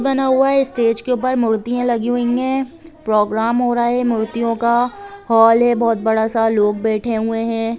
बना हुआ है स्टेज के ऊपर मूर्ति लगी हुई है प्रोग्राम हो रहा है मूर्तियों का हॉल है बहुत बड़ा सा लोग बेठे हुए है।